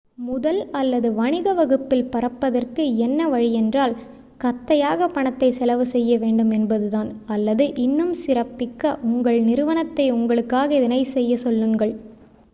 முதல் அல்லது வணிக வகுப்பில் பறப்பதற்கு என்ன வழியென்றால் கத்தையாக பணத்தை செலவு செய்ய வேண்டும் என்பது தான் அல்லது இன்னும் சிறப்பிக்க உங்கள் நிறுவனத்தை உங்களுக்காக இதனைச் செய்யச் சொல்லுங்கள்